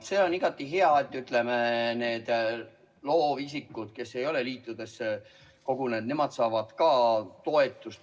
See on igati hea, et ka need loovisikud, kes ei ole liitudesse kogunenud, saavad toetust.